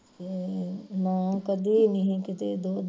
ਹਮ ਨਾ ਕਦੀ ਨੀ ਹੀ ਕਿਤੇ ਦੁੱਧ